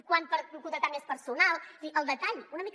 quant per contractar més personal és a dir el detall una mica